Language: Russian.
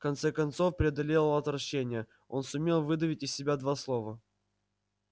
в конце концов преодолев отвращение он сумел выдавить из себя два слова